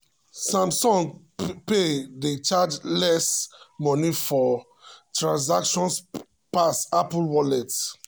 samsung pay dey charge less money for transactions pass apple wallet.